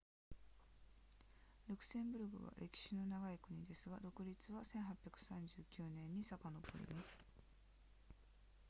ルクセンブルクは歴史の長い国ですが独立は1839年に遡ります